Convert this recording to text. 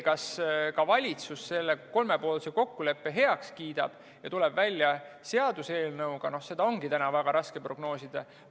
Kas ka valitsus selle kolmepoolse kokkuleppe heaks kiidab ja tuleb välja seaduseelnõuga, seda ongi täna väga raske prognoosida.